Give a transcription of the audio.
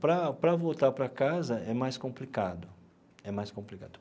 Para para voltar para casa, é mais complicado, é mais complicado.